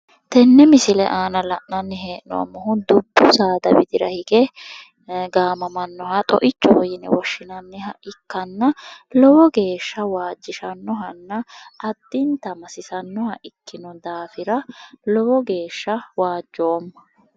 Tenne misile aana la'nanni hee'noommohu dubbu saada widira hige gaamamannoha xo"ichoho yine woshshinanniha ikkanna lowo geeshsha wajishannohanna addinta masisannoha ikkino daafira lowo geeshsha waajjoomma.